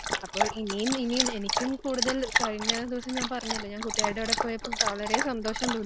അപ്പോ ഇനിയും ഇനിയും എനിക്കും കൂടുതൽ, കഴിഞ്ഞദിവസം ഞാൻ പറഞ്ഞല്ലോ ഞാൻ കൂട്ടുകാരിയുടെ കൂടെ പോയപ്പോ വളരെ സന്തോഷം തോന്നി.